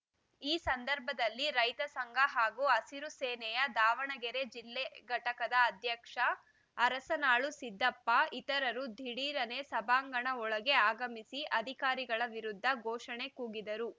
ಈ ಸಂದರ್ಭದಲ್ಲಿ ರೈತ ಸಂಘ ಹಾಗೂ ಹಸಿರು ಸೇನೆಯ ದಾವಣಗೆರೆ ಜಿಲ್ಲೆ ಘಟಕದ ಅಧ್ಯಕ್ಷ ಅರಸನಾಳು ಸಿದ್ದಪ್ಪ ಇತರರು ದಿಢೀರನೆ ಸಭಾಂಗಣ ಒಳಗೆ ಆಗಮಿಸಿ ಅಧಿಕಾರಿಗಳ ವಿರುದ್ದ ಘೋಷಣೆ ಕೂಗಿದರು